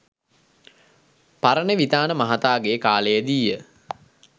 පරණවිතාන මහතාගේ කාලයේදීය.